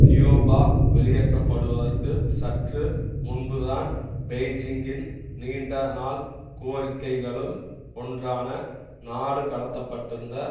தியோபா வெளியேற்றப்படுவதற்கு சற்று முன்புதான் பெய்ஜிங்கின் நீண்ட நாள் கோரிக்கைகளுள் ஒன்றான நாடு கடத்த பட்டிருந்த